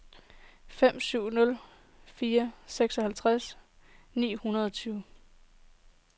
fem syv nul fire seksoghalvfems ni hundrede og tyve